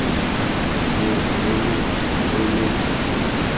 longwe lo longwe lo lo